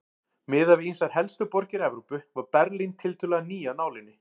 Miðað við ýmsar helstu borgir Evrópu var Berlín tiltölulega ný af nálinni.